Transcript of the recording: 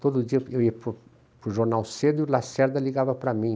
Todo dia eu ia para o para o jornal cedo e o Lacerda ligava para mim.